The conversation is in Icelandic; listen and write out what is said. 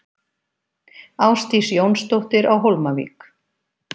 Ásdís Jónsdóttir á Hólmavík